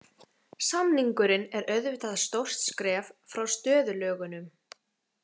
Samningurinn er auðvitað stórt skref frá stöðulögunum.